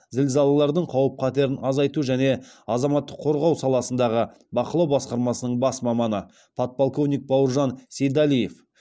зілзалалардың қауіп қатерін азайту және азаматтық қорғау саласындағы бақылау басқармасының бас маманы подполковник бауыржан сейдалиев